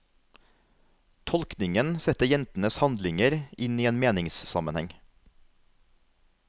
Tolkningen setter jentenes handlinger inn i en meningssammenheng.